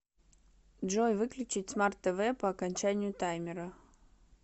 джой выключить смарт тв по окончанию таймера